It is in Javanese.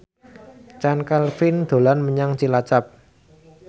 Chand Kelvin dolan menyang Cilacap